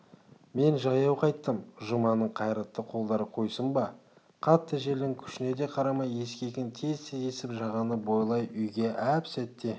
мен жаяу қайттым жұманың қайратты қолдары қойсын ба қатты желдің күшіне де қарамай ескегін тез-тез есіп жағаны бойлай үйге әп сәтте